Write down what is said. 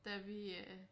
Da vi øh